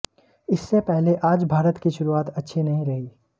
इससे पहले आज भारत की शुरुआत अच्छी नहीं रही